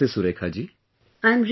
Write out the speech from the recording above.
Namaste Surekha ji